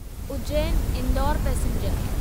Ujjain Indore passenger